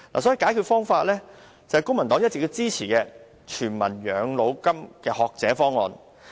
所以，解決方法是公民黨一直支持的"全民養老金"學者方案。